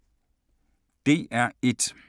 DR1